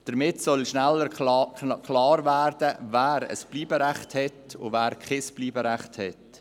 Damit soll schneller klar werden, wer ein Bleiberecht hat und wer kein Bleiberecht hat.